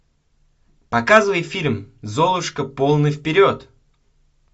показывай фильм золушка полный вперед